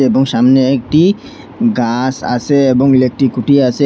এবং সামনে একটি গাস আসে এবং ইলেকট্রিক খুঁটি আসে।